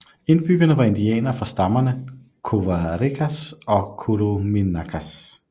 Indbyggerne var indianere fra stammerne Covarecas og Curuminacas